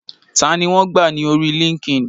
Tani wọn gbà ní orí líńki-inì?